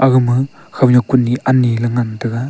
agama khownyak kunyi ani ley ngan tega.